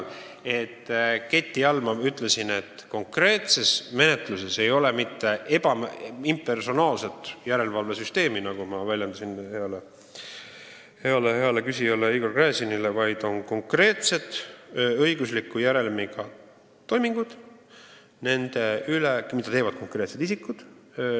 Ma ütlesin heale küsijale Igor Gräzinile, et konkreetses menetluses ei ole impersonaalset järelevalvesüsteemi, vaid on konkreetsed õigusliku järelmiga toimingud, mida teevad konkreetsed isikud.